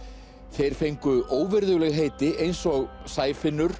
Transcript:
þeir fengu óvirðuleg heiti eins og